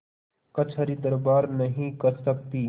कचहरीदरबार नहीं कर सकती